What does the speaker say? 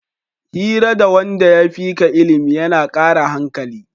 Hira da wanda ya fika ilimi yana kara hankali